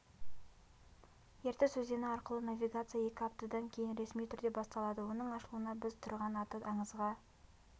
ертіс өзені арқылы навигация екі аптадан кейін ресми түрде басталады оның ашылуына біз тұрған аты аңызға